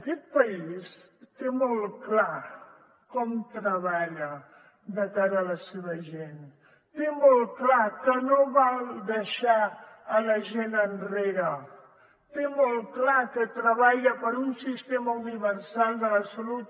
aquest país té molt clar com treballar de cara a la seva gent té molt clar que no val deixar la gent enrere té molt clar que treballa per un sistema universal de la salut